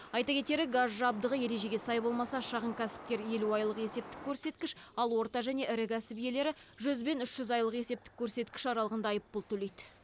айта кетері газ жабдығы ережеге сай болмаса шағын кәсіпкер елу айлық есептік көрсеткіш ал орта және ірі кәсіп иелері жүз бен үш жүз айлық есептік көрсеткіш аралығында айыппұл төлейді